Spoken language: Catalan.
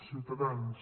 ciutadans